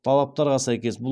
талаптарға сәйкес бұл